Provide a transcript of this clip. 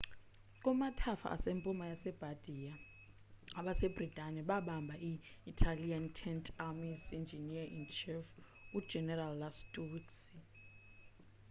kumathafa asempuma yase bardia abase britane babamba i-italian tenth army's engineer-in-chief u-general lastucci